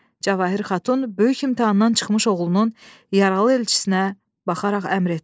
Cavahir xatun böyük imtahandan çıxmış oğlunun yaralı elçisinə baxaraq əmr etdi.